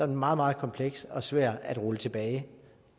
meget meget kompleks og svær at rulle tilbage